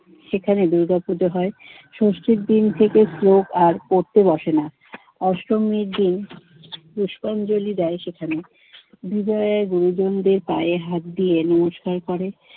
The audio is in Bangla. সেখানে দুর্গাপূজা হয়। ষষ্ঠীর দিন থেকে স্লোক আর পড়তে বসে না। অষ্টমীর দিন পুষ্পাঞ্জলি দেয় সেখানে। বিজয়া গুরুজনদের পায়ে হাত দিয়ে নমস্কার করে।